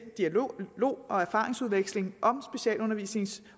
dialog og erfaringsudveksling